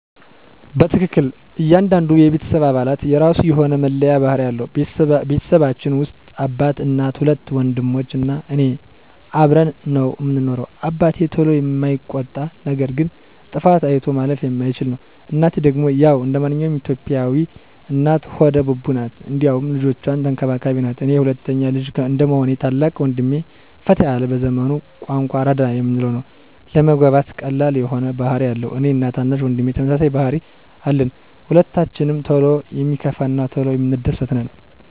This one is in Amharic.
በትክክል ! እያንዳንዱ የቤተሰብ አባላት የራሱ የሆነ መለያ ባህሪ አለው። በቤተሰባችን ውስጥ አባት፣ እናት፣ ሁለት ወንድሞች እና እኔ አብረን ነው ምንኖረው። አባቴ ቶሎ የማይቆጣ ነገር ግን ጥፋት አይቶ ማለፍ የማይችል ነው፤ እናቴ ደግሞ ያው እንደማንኛውም የኢትዮጲያ እናት ሆደ ቡቡ ናት እንዲሁም ልጆቿን ተንከባካቢም ናት፤ እኔ ሁለተኛ ልጅ እንደመሆኔ ታላቅ ወንድሜ ፈታ ያለ በዘመኑ ቋንቋ አራዳ የምንለው ነው። ለመግባባት ቀላል የሆነ ባህሪ አለው፤ እኔ እና ታናሽ ወንድሜ ተመሳሳይ ባህሪ አለን። ሁለታችንም ቶሎ የሚከፋን እና ቶሎ የምንደስት ነን።